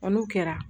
n'o kɛra